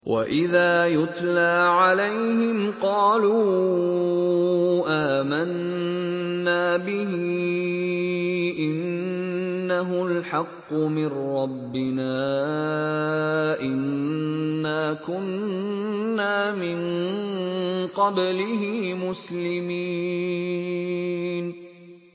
وَإِذَا يُتْلَىٰ عَلَيْهِمْ قَالُوا آمَنَّا بِهِ إِنَّهُ الْحَقُّ مِن رَّبِّنَا إِنَّا كُنَّا مِن قَبْلِهِ مُسْلِمِينَ